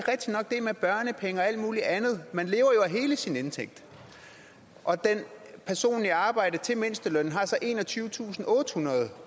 er med børnepenge og alt muligt andet man lever jo af hele sin indtægt og en person i arbejde til mindstelønnen har så enogtyvetusinde og ottehundrede